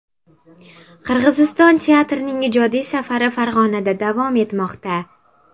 Qirg‘iziston teatrining ijodiy safari Farg‘onada davom etmoqda.